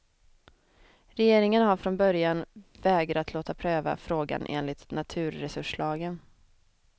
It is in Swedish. Regeringen har från början vägrat låta pröva frågan enligt naturresurslagen.